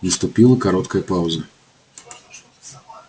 наступила короткая пауза